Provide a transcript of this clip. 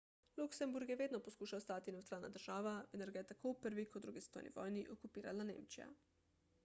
luksemburg je vedno poskušal ostati nevtralna država vendar ga je tako v prvi kot drugi svetovni vojni okupirala nemčija